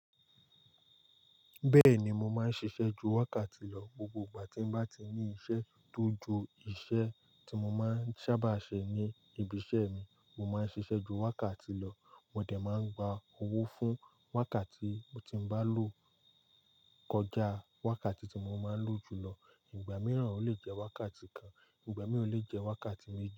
Bẹ́ẹ̀ni, mo máa ń ṣiṣẹ́ ju wákàtí lọ. Gbogbo ìgbà tí mo bá ti ní iṣẹ́ tó ju iṣẹ́ tí mo máa ń sábà ṣe ní ibi iṣẹ́ mi, mo máa ń ṣiṣẹ́ ju wákàtí lọ. Mo dẹ̀ máa ń gba owó fún wákàtí mo ti bá lò kọjá wákàtí tí mo máa ń lò jù lọ. Ìgbà mìíràn ó lè jẹ́ wákàtí kan, ìgbà mìíràn ó lè jẹ́ wákàtí méjì.